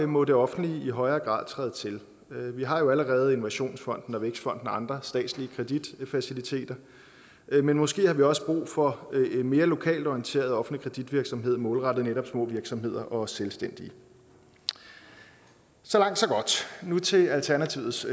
må det offentlige i højere grad træde til vi har allerede innovationsfonden og vækstfonden og andre statslige kreditfaciliteter men måske har vi også brug for en mere lokalt orienteret offentlig kreditvirksomhed målrettet netop små virksomheder og selvstændige så langt så godt nu til alternativets